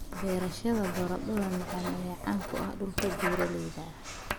Beerashada baradhada macaan ayaa caan ku ah dhulka buuraleyda ah.